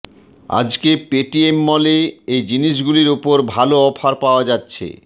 আজকে পেটিএমমলে এই জিনিস গুলির ওপর ভাল অফার পাওয়া যাচ্ছে